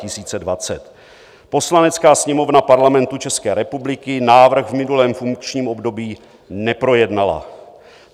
Poslanecká sněmovna Parlamentu České republiky návrh v minulém funkčním období neprojednala.